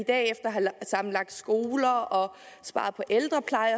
at have sammenlagt skoler og sparet på ældrepleje